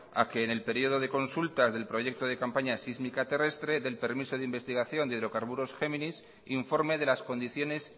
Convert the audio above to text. a que en el periodo de consultas del proyecto de campaña sísmica terrestre del permiso de investigación de hidrocarburos géminis informe de las condiciones